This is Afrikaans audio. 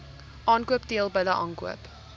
aankoop teelbulle aankoop